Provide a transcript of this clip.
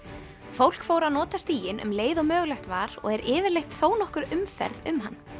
fólk fór að nota stíginn um leið og mögulegt var og er yfirleitt þónokkur umferð um hann